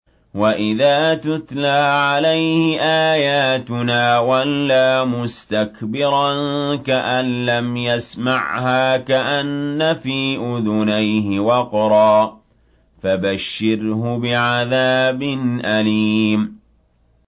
وَإِذَا تُتْلَىٰ عَلَيْهِ آيَاتُنَا وَلَّىٰ مُسْتَكْبِرًا كَأَن لَّمْ يَسْمَعْهَا كَأَنَّ فِي أُذُنَيْهِ وَقْرًا ۖ فَبَشِّرْهُ بِعَذَابٍ أَلِيمٍ